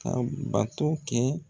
Ka bato kɛ